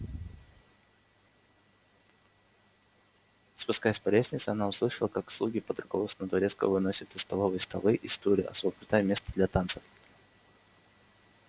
спускаясь по лестнице она услышала как слуги под руководством дворецкого выносят из столовой столы и стулья освобождая место для танцев